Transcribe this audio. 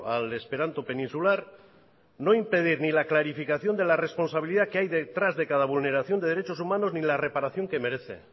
al esperanto peninsular no impedir ni la clarificación de la responsabilidad que hay detrás de cada vulneración de derechos humanos ni la reparación que merece